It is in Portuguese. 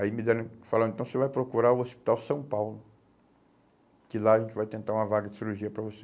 Aí me deram, falaram, então você vai procurar o Hospital São Paulo, que lá a gente vai tentar uma vaga de cirurgia para você.